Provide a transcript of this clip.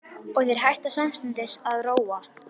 Og þeir hætta samstundis að róa.